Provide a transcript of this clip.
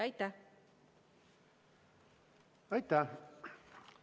Aitäh!